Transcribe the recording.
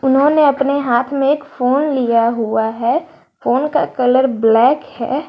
इन्होंने अपने हाथ में एक फोन लिया हुआ है फोन का कलर ब्लैक है।